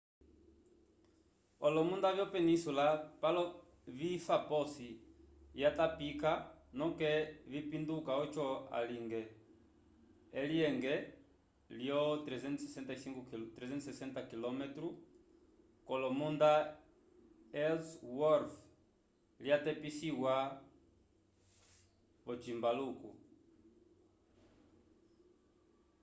olomunda vyo penísula palo vifa posi yatapika noke vipinduka oco alinge elyenge lyo 360 km ko lomunda ellsworth lya tepisiwa vo cimbaluko